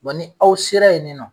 ni aw sera yen nɔ.